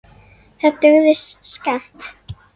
Það dugði skammt.